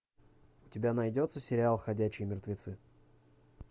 у тебя найдется сериал ходячие мертвецы